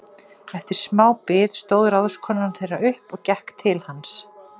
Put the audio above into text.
Eftir sma bið stóð ráðskonan þeirra upp og gekk til hans.